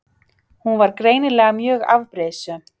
Hún var greinilega mjög afbrýðisöm.